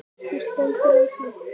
Ekki stendur á því.